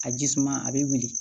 A ji suma a bɛ wuli